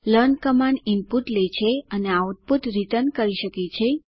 learn command input લે છે અને અને આઉટપુટ રીટર્ન કરી શકે છે